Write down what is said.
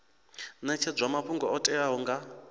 netshedzwa mafhungo o teaho nga